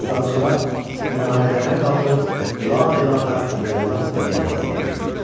Azançılar minarələrə qalxıb Lə ilahə illallah deməyə hazırlaşırdılar.